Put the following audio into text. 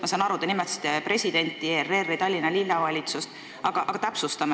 Ma saan aru, te nimetasite presidenti, ERR-i ja Tallinna Linnavalitsust, aga täpsustame!